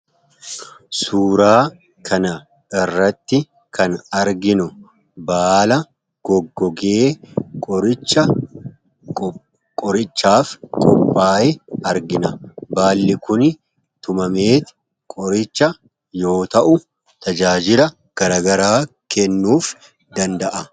Suuraa kanarratti kan arginu baala goggogee qorichaaf qophaaye argina. Baalli kun tumamee qoricha yoo ta'u, tajaajila garaagaraa kennuu danda'a.